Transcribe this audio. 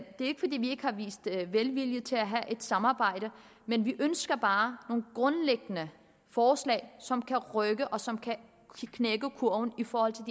ikke fordi vi ikke har vist velvilje til at have et samarbejde men vi ønsker bare nogle grundlæggende forslag som kan rykke og som kan knække kurven i forhold til